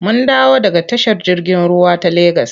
Mun dawo daga tashar jirgin ruwa ta Legas.